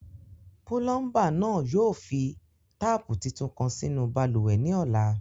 ̵Pulọmba naa yóò fi taapu títún kan sínu bálúwẹ̀ ni ọlà.